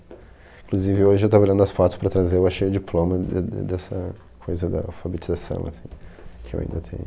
Inclusive hoje eu estava olhando as fotos para trazer, eu achei o diploma de de dessa coisa da alfabetização, assim, que eu ainda tenho.